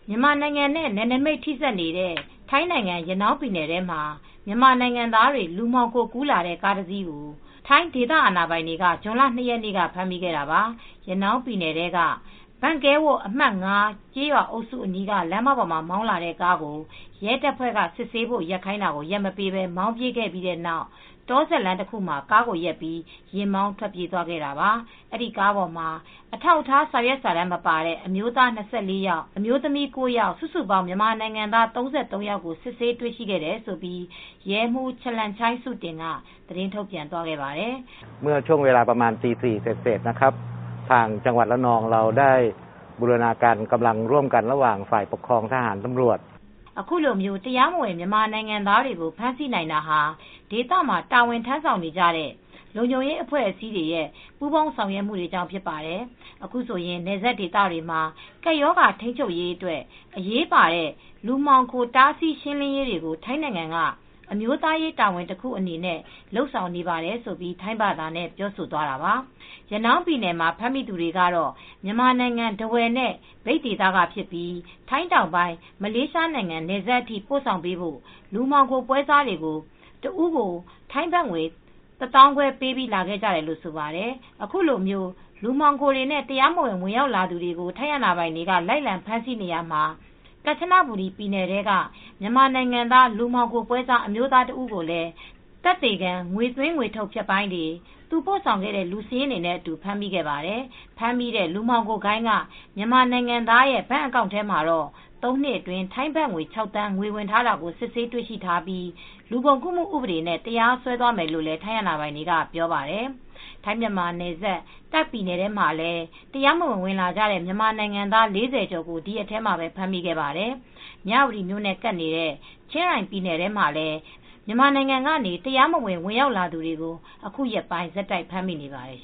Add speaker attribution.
Speaker 1: မြန်မာနိုင်ငံနဲ့ နယ်နိမိတ်ထိဆက်နေတဲ့ ထိုင်းနိုင်ငံ ရနောင်းပြည်နယ်ထဲမှာ လူမှောင်ခိုကူးလာတဲ့ မြန်မာနိုင်ငံသားတွေ တင်လာတဲ့ ကားတစီးကို ထိုင်းအာဏာပိုင်တွေက ဇွန် ၂ ရက်နေ့က ဖမ်းမိခဲ့တာပါ။ ရနောင်းပြည်နယ်ထဲက Bang Kaeo ဘန်ကဲဝို့ အမှတ် ၅ ကျေးရွာအုပ်စုအနီးက လမ်းမပေါ်မှာ မောင်းလာတဲ့ကားကို ရဲတပ်ဖွဲ့က စစ်ဆေးဖို့ ရပ်ခိုင်းတာကို ရပ်မပေးဘဲ မောင်းပြေးခဲ့ပြီးနောက် တောစပ်လမ်းတခုမှာ ကားကိုရပ်ပြီး ယာဉ်မောင်း ထွက်ပြေးသွားခဲ့တာပါ။ အဲဒီကားပေါ်မှာ အထောက်ထား စာရွက်စာတမ်းမပါတဲ့ အမျိုးသား ၂၄ ယောက် အမျိုးသမီး ၉ ယောက် စုစုပေါင်း မြန်မာနိုင်ငံသား ၃၃ ယောက်ကို စစ်ဆေးတွေ့ရှိခဲ့တယ်လို့ရဲမှူး Chalermchai Suttin က သတင်းထုတ်ပြန်သွားခဲ့ပါတယ်။
Speaker 2: "
Speaker 1: အခုလို တရားမဝင် မြန်မာနိုင်ငံသားတွေကို ဖမ်းဆီးနိုင်တာဟာ ဒေသမှာ တာဝန်ထမ်းဆောင်နေတဲ့ လုံခြုံရေးအဖွဲ့အစည်းအားလုံးရဲ့ ပူးပေါင်းဆောင်ရွက်မှုတွေကြောင့် ဖြစ်ပါတယ်။ အခုဆိုရင် နယ်စပ်ဒေသတွေမှာ ကပ်ရောဂါ ထိန်းချုပ်ရေးအတွက် အရေးပါတဲ့ လူမှောင်ခို တားဆီးရှင်းလင်းရေးတွေကို ထိုင်းနိုင်ငံက အမျိုးသားရေးတာဝန်တခုအနေနဲ့ လုပ်ဆောင်နေပါတယ်။" လို့ရဲမှူးက ထိုင်းဘာသာနဲ့ ပြောသွားပါတယ်။ ရနောင်းပြည်နယ်မှာ ဖမ်းမိသူတွေကတော့ မြန်မာနိုင်ငံ ထားဝယ်နဲ့ မြိတ်ဒေသက ဖြစ်ကြပြီး ထိုင်းတောင်ပိုင်း မလေးရှားနိုင်ငံ နယ်စပ်အထိ ပို့ဆောင်ပေးဖို့ လူမှောင်ခိုပွဲစားတွေကို တယောက် ထိုင်းဘတ်ငွေ ၁၅,၀၀၀ ပေးပြီး လာခဲ့ကြတာလို့ဆိုပါတယ်။ ခုလို လူမှောင်ခိုတွေနဲ့ တရားမဝင် ဝင်လာသူတွေကို ထိုင်းအာဏာပိုင်တွေက လိုက်လံဖမ်းဆီးနေရာမှာ ကန်ချနဘူရီပြည်နယ်ထဲက မြန်မာနိုင်ငံသား လူမှောင်ခိုပွဲစား အမျိုးသားတစ်ဦးကိုလည်း သက်သေခံ ငွေသွင်း၊ ငွေထုတ် ဖြတ်ပိုင်းတွေ သူ့ပို့ဆာင်ခဲ့တဲ့ လူစာရင်းတွေနဲ့အတူ ဖမ်းမိခဲ့ပါတယ်။ ဖမ်းမိတဲ့ လူမှောင်ခိုဂိုဏ်းက မြန်မာနိုင်ငံသားရဲ့ ဘဏ်အကောင့်ထဲမှာ သုံးနှစ်အတွင်း ထိုင်းဘတ်ငွေ ၆,၀၀၀,၀၀၀ ငွေဝင်ထားတာကို စစ်ဆေးတွေ့ရှိထားပြီးလူကုန်ကူးဥပဒေနဲ့ တရားစွဲမယ်လို့လည်း ထိုင်းအာဏာပိုင်တွေက ပြောပါတယ်။ ထိုင်း-မြန်မာနယ်စပ် တာ့ခ်ပြည်နယ်ထဲမှာလည်း တရားမဝင် ဝင်လာကြတဲ့ မြန်မာနိုင်ငံသား ၄၀ ကျော်ကို ဒီရက်ထဲမှာပဲ ဖမ်းမိခဲ့ပါတယ်။ မြဝတီမြို့နဲ့ ကပ်နေတဲ့ ချင်းရိုင်ပြည်နယ်ထဲမှာလည်း မြန်မာနိုင်ငံကနေ တရားမဝင် ရောက်လာသူတွေကို အခုရက်ပိုင်း ဆက်တိုက် ဖမ်းမိနေပါတယ်